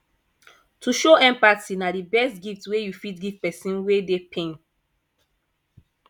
to show empathy na di best gift wey you fit give pesin wey dey pain